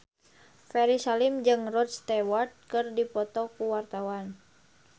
Ferry Salim jeung Rod Stewart keur dipoto ku wartawan